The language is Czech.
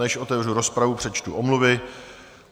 Než otevřu rozpravu, přečtu omluvy.